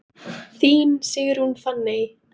Þín Sigrún Fanney.